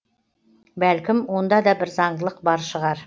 бәлкім онда да бір заңдылық бар шығар